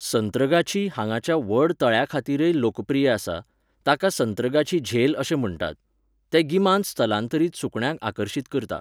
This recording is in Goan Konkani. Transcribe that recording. संत्रगाछी हांगाच्या व्हड तळ्याखातीरय लोकप्रिय आसा, ताका संत्रगाछी झेल अशें म्हण्टात, तें गिमांत स्थलांतरीत सुकण्यांक आकर्शीत करता.